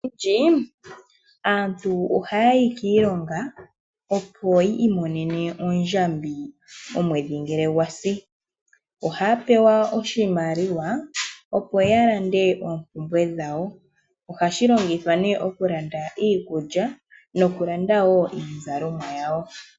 Moompito odhindji, aantu oha yayi kiilonga, opoyi imonene oondjambi, omwedhi ngele gwasi, ohaya pewa oshimaliwa, opo yaka lande oompumbwe dhawo, ohashi longithwa ne oku landa iikulya noku landa wo iizalomwa yawo.